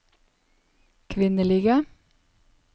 kvinnelige